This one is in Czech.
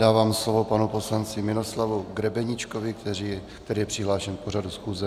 Dávám slovo panu poslanci Miroslavu Grebeníčkovi, který je přihlášen k pořadu schůze.